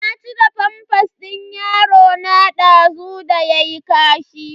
Na cire famfas din yarona dazu da yayi kashi.